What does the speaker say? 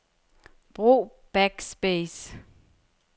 Brug backspace.